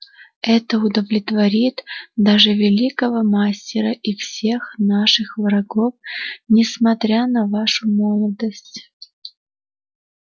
это удовлетворит даже великого мастера и всех ваших врагов несмотря на вашу молодость